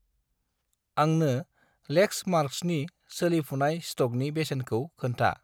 आंनो लेक्समार्क्सनि सोलिफुनाय स्टकनि बेसेनखौ खोन्था।